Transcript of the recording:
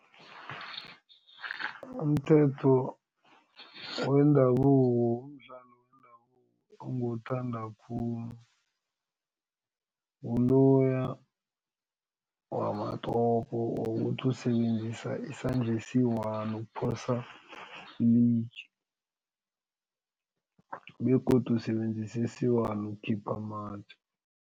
Umthetho wendabuko umdlalo wendabuko onguwuthanda khulu nguloya wamatopo wokuthi usebenzisa isandla esi-one ukuphosa ilitje begodu usebenzisa esi-one ukukhipha amatje.